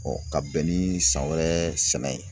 ka bɛn ni san wɛrɛ sɛnɛ ye.